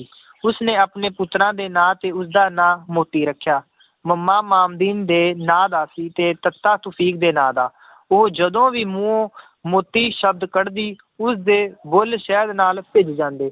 ਉਸਨੇ ਆਪਣੇ ਪੁੱਤਰਾਂ ਦੇ ਨਾਂ ਤੇ ਉਸਦਾ ਨਾਂ ਮੋਤੀ ਰੱਖਿਆ ਮੱਮਾ ਮਾਮਦੀਨ ਦੇ ਨਾਂ ਦਾ ਸੀ, ਤੇ ਤੱਤਾ ਤੁਫ਼ੀਕ ਦੇ ਨਾਂ ਦਾ ਉਹ ਜਦੋਂ ਵੀ ਮੂੰਹੋਂ ਮੋਤੀ ਸ਼ਬਦ ਕੱਢਦੀ ਉਸਦੇ ਬੁੱਲ ਸ਼ਹਿਦ ਨਾਲ ਭਿੱਜ ਜਾਂਦੇ